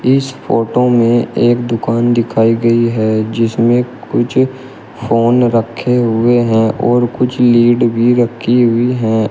इस फोटो में एक दुकान दिखाई गई है जिसमें कुछ फोन रखे हुए हैं और कुछ लीड भी रखी हुई हैं।